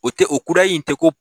O tɛ o kudayi in tɛ ko